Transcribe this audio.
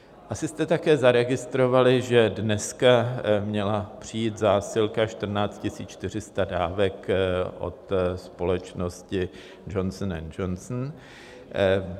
Asi jste také zaregistrovali, že dneska měla přijít zásilka 14 400 dávek od společnosti Johnson & Johnson.